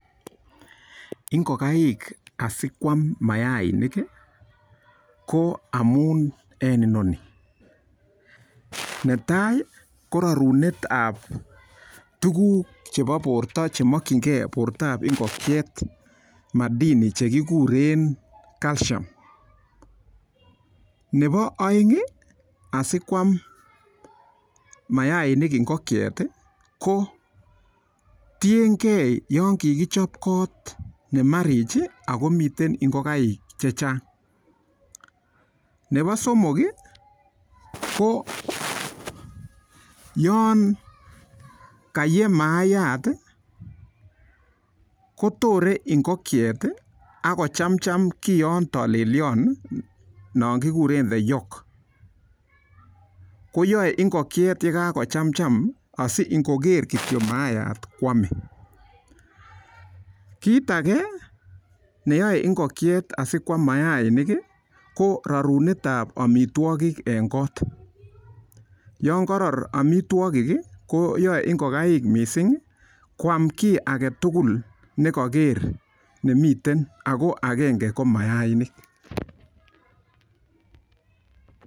Ngokaik asikoam maainik, ko amun eng oeng. Netai ko rarunetab tukuk chebo borto chemokchingei ngokchet , madhini chekiguren calcium. Nebo oeng asikoam maainik ngonchet ko tiengei yon kikichop koot nemarich akomitei ngokaik chechang. Nebo somok ko yon kaye maaiyat kotorei ako chamcham kiyon tolelion nekigure the yolk. Koyoei ngokchet yon kakochamcham asi ngoger kitio maayat koamei. Kit age neyai ngokchet asikoam maayat, ko rarunetab amitwagik eng koot. Yon karor amitwagik koyaei ngokaik mising koam kiy agetugul ne kaker nemiten ako agenge ko maainik.